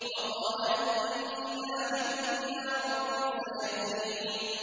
وَقَالَ إِنِّي ذَاهِبٌ إِلَىٰ رَبِّي سَيَهْدِينِ